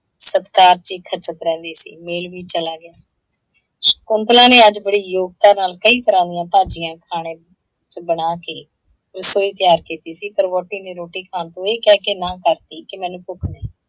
ਸਤਿਕਾਰ ਚ ਹੀ ਖੱਚਤ ਰਹਿੰਦੀ ਸੀ। ਮੇਲ ਵੀ ਚਲਾ ਗਿਆ। ਸ਼ਕੁੰਤਲਾ ਨੇ ਅੱਜ ਬੜੇ ਯੋਗਤਾ ਨਾਲ ਕਈ ਤਰ੍ਹਾਂ ਦੀਆਂ ਭਾਜੀਆਂ ਖਾਣੇ ਚ ਬਣਾ ਕੇ ਰਸੋਈ ਤਿਆਰ ਕੀਤੀ ਸੀ, ਪਰ ਵਹੁਟੀ ਨੇ ਰੋਟੀ ਖਾਣ ਤੋਂ ਇਹ ਕਹਿ ਕੇ ਨਾ ਕਰਤੀ ਕਿ ਮੈਨੂੰ ਭੁੱਖ ਨਹੀਂ।